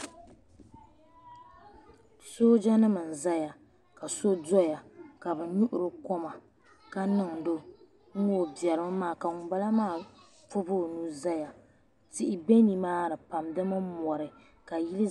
Sooja nima n zaya ka so doya ka bɛ nyuhiri o koma ka niŋdi o nŋɔ o biɛrimi maa ka ŋunbala maa pobi o nuu zaya tihi be nimaani pam di mini mori ka yili.